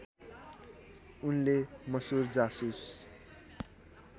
उनले मसुर जासुस